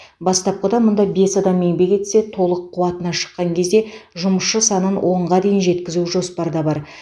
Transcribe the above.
бастапқыда мұнда бес адам еңбек етсе толық қуатына шыққан кезде жұмысшы санын онға дейін жеткізу жоспарда бар